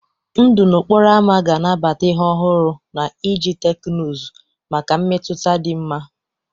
Ndụ n'okporo ámá ga-anabata ihe ọhụrụ na iji teknụzụ maka mmetụta dị mma.